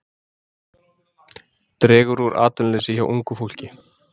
Dregur úr atvinnuleysi hjá ungu fólki